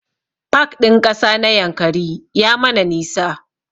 Pak ɗin ƙasa na Yankari ya mana nisa